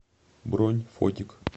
бронь фотик